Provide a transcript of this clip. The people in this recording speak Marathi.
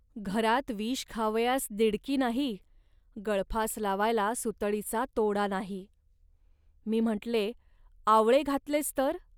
घरात विष खावयास दिडकी नाही, गळफास लावायला सुतळीचा तोडा नाही. .मी म्हटले, " आवळे घातलेस, तर